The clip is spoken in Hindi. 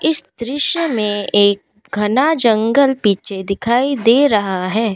इस दृश्य में एक घना जंगल पीछे दिखाई दे रहा है।